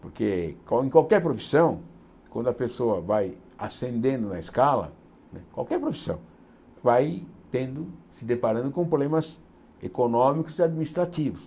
Porque qual em qualquer profissão, quando a pessoa vai ascendendo na escala, qualquer profissão, vai tendo se deparando com problemas econômicos e administrativos.